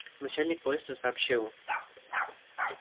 начальник поезда сообщил